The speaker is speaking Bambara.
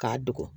K'a dogo